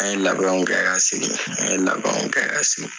An ye labɛnw kɛ ka segin an ye labɛnw kɛ ka segin.